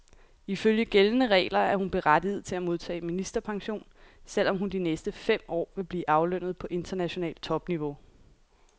Ifølge gældende regler er hun berettiget til at modtage ministerpension, selv om hun de næste fem år vil blive aflønnet på internationalt topniveau.